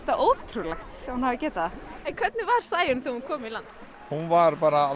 ótrúlegt að hún hafi getað það hvernig var Sæunn þegar hún kom í land hún var bara